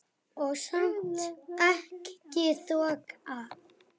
Og samt ekki þoka.